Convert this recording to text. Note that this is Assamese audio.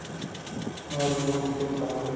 হয়, বহুত দিশত কাম কৰে